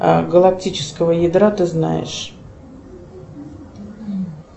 галактического ядра ты знаешь